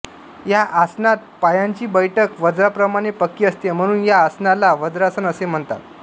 या आसनात पायांची बैठक वज्राप्रमाणे पक्की असते म्हणून या आसनाला वज्रासन असे म्हणतात